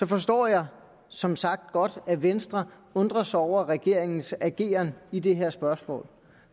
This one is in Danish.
forstår jeg som sagt godt at venstre undrer sig over regeringens ageren i det her spørgsmål